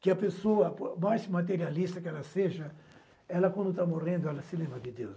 Que a pessoa, por mais materialista que ela seja, ela quando está morrendo, ela se lembra de Deus.